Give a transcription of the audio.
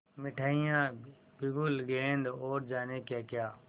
मिठाइयाँ बिगुल गेंद और जाने क्याक्या